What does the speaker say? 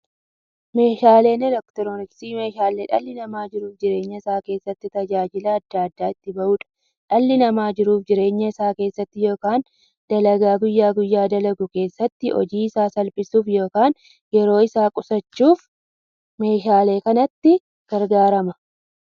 Meeshaaleen elektirooniksii meeshaalee dhalli namaa jiruuf jireenya isaa keessatti, tajaajila adda addaa itti bahuudha. Dhalli namaa jiruuf jireenya isaa keessatti yookiin dalagaa guyyaa guyyaan dalagu keessatti, hojii isaa salphissuuf yookiin yeroo isaa qusachuuf meeshaalee kanatti gargaarama.